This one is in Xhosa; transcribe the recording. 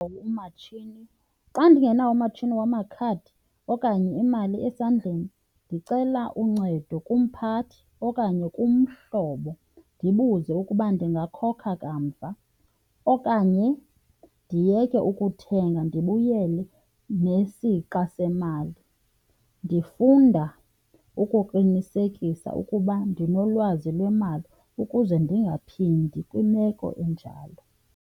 umatshini. Xa ndingenawo umatshini wamakhadi okanye imali esandleni ndicela uncedo kumphathi okanye kumhlobo. Ndibuze ukuba ndingakhokha kamva okanye ndiyeke ukuthenga ndibuyele nesixa semali. Ndifunda ukuqinisekisa ukuba ndinolwazi lwemali ukuze ndingaphindi kwimeko enjalo.